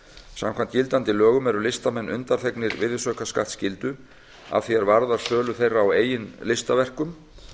samkvæmt gildandi lögum eru listamenn undanþegnir virðisaukaskattsskyldu að því er varðar sölu þeirra á eigin listaverkum